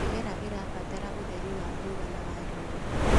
Mĩmera ĩrabatara ũtheri wa kũigana wa riũa.